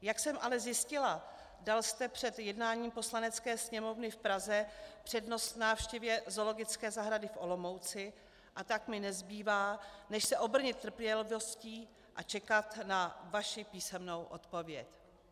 Jak jsem ale zjistila, dal jste před jednáním Poslanecké sněmovny v Praze přednost návštěvě zoologické zahrady v Olomouci, a tak mi nezbývá než se obrnit trpělivostí a čekat na vaši písemnou odpověď.